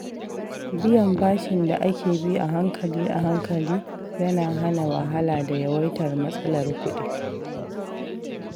Biyan bashin da ake bi ahankali-ahankali yana hana wahala da yawaitar matsalar kuɗi.